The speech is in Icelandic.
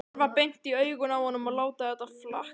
Horfa beint í augun á honum og láta þetta flakka.